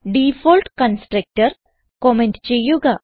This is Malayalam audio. ഡിഫോൾട്ട് കൺസ്ട്രക്ടർ കമന്റ് ചെയ്യുക